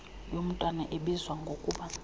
yomntwana ebizwa ngokuba